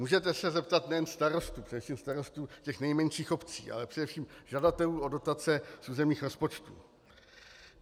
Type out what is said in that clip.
Můžete se zeptat nejen starostů, především starostů těch nejmenších obcí, ale především žadatelů o dotace z územních rozpočtů.